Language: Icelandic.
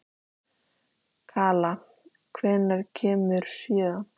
Kala, hvenær kemur sjöan?